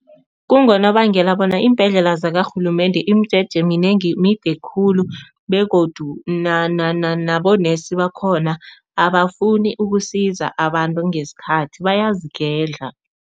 Kungonobangela bona iimbhedlela zakarhulumende, imijeje minengi mide khulu begodu nabonesi bakhona abafuni ukusiza abantu ngesikhathi bayazigedla.